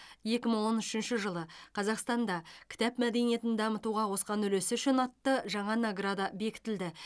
екі мың он үшінші жылы қазақстанда кітап мәдениетін дамытуға қосқан үлесі үшін атты жаңа награда бекітілді